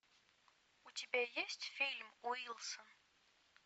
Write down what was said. у тебя есть фильм уилсон